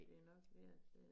Det nok mere til